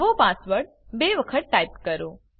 નવો પાસવર્ડ બે વખત ટાઈપ કરો